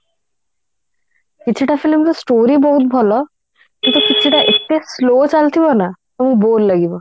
କିଛି ଟା film ର story ବହୁତ ଭଲ କିନ୍ତୁ କିଛିଟା ଏତେ slow ଚାଲୁଥିବ ନା ବହୁତ bore ଲାଗିବ